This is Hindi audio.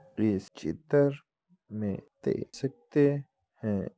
इस चित्र में देख सकते है।